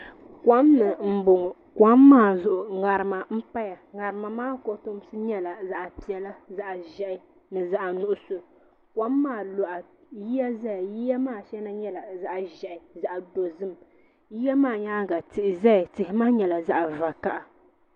Kom ni n bɔŋɔ ko maa zuɣu ŋarima n paya ŋarima maa kotomsi nyɛla zaɣi piɛlla zaɣi zɛhi ni zaɣi nuɣiso kom maa luɣa yiya zaya yiya maa shɛŋa yɛla zaɣi zɛhi zaɣi dozim yiya maa yɛanga tihi zaya tihi maa nyɛla zaɣi vakaha.